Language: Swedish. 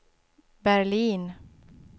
Berlin